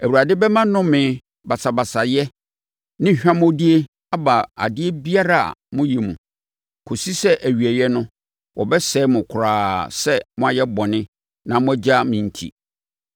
Awurade bɛma nnome, basabasayɛ ne hwammɔdie aba adeɛ biara a moyɛ mu, kɔsi sɛ awieeɛ no wɔbɛsɛe mo koraa sɛ moayɛ bɔne na moagya me enti.